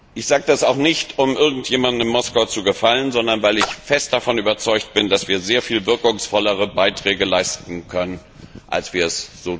Ich sage das nicht, um irgendjemandem in Moskau zu gefallen, sondern weil ich fest davon überzeugt bin, dass wir sehr viel wirkungsvollere Beiträge leisten können, als wir es